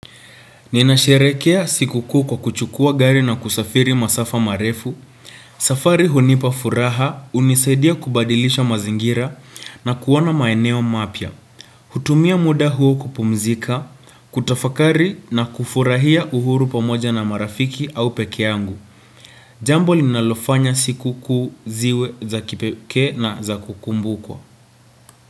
Ninasherehekea sikukuu kwa kuchukua gari na kusafiri masafa marefu. Safari hunipafuraha unisaidia kubadilisha mazingira na kuona maeneo mapya hutumia muda huo kupumzika, kutafakari na kufurahia uhuru pamoja na marafiki au pekee yangu. Jambo linalofanya sikukuu ziwe za kipekee na za kukumbukwa.